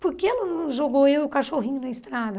Por que ela não jogou eu e o cachorrinho na estrada?